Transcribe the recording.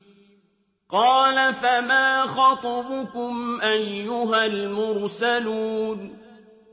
۞ قَالَ فَمَا خَطْبُكُمْ أَيُّهَا الْمُرْسَلُونَ